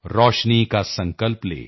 ਰੋਸ਼ਨੀ ਕਾ ਸੰਕਲਪ ਲੇ